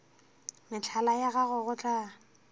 mehlala ya gago go tla